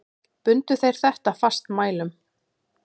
Bundu þeir þetta fastmælum.